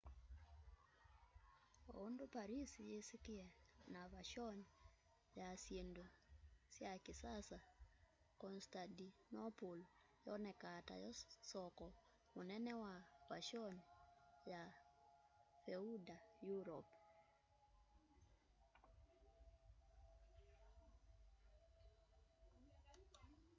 oundu paris yisikie na vashoni ya syindu sy kisasa constantinople yoonekaa tayo soko munene wa vashoni ya feudal europe